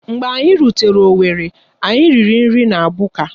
Mgbe anyị rutere owerri, anyị riri nri na Buka.